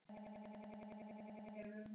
Og hún hlustar á þær.